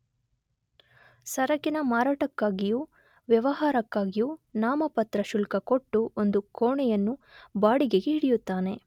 ಸರಕಿನ ಮಾರಾಟಕ್ಕಾಗಿಯೂ ವ್ಯವಹಾರಕ್ಕಾಗಿಯೂ ನಾಮಪತ್ರ ಶುಲ್ಕ ಕೊಟ್ಟು ಒಂದು ಕೋಣೆಯನ್ನು ಬಾಡಿಗೆಗೆ ಹಿಡಿಯುತ್ತಾನೆ.